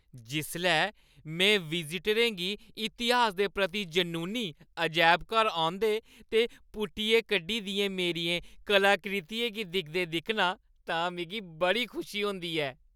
जिसलै में विज़टरें गी इतिहास दे प्रति जनूनी, अजैबघर औंदे ते पुट्टियै कड्ढी दियें मेरियें कलाकृतियें गी दिखदे दिक्खनां तां मिगी बड़ी खुशी मिलदी ऐ।